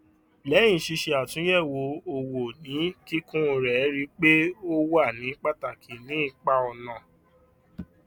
lẹyìn ṣíṣe àtúnyẹwò owó ní kíkún rẹ rí i pé ó wà ní pàtàkì ní ipa ọnà